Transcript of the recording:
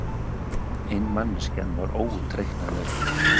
En manneskjan var óútreiknanleg.